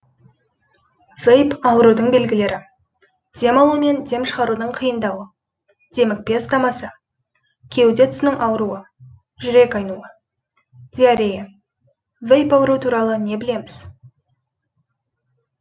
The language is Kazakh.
вейп аурудың белгілері дем алу мен дем шығарудың қиындауы демікпе ұстамасы кеуде тұсының ауруы жүрек айнуы диарея вейп ауру туралы не білеміз